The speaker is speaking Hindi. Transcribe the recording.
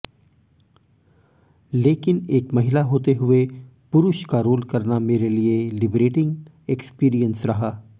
लेकिन एक महिला होते हुए पुरुष का रोल करना मेरे लिए लिबरेटिंग एक्सपीरियंस रहा